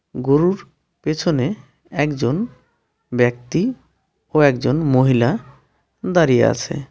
গোরুর পেছনে একজন ব্যক্তি ও একজন মহিলা দাঁড়িয়ে আছে.